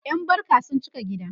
ƴan barka sun cika gida